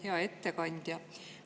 Hea ettekandja!